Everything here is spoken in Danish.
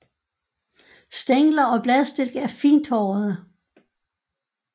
Stængler og bladstilke er fint hårede